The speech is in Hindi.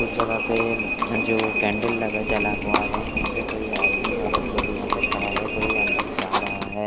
कुछ जगह पे जो कैंडल लगा जला हुआ है यहाँ पर कोई आदमी औरत लोग यहाँ पे खड़ा है कोई अंदर जा रहा है।